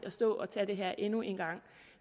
at stå og tage det her endnu en gang